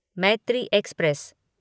Maitri express